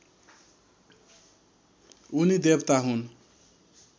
उनी देवता हुन्